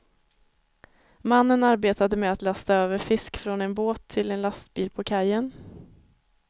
Mannen arbetade med att lasta över fisk från en båt till en lastbil på kajen.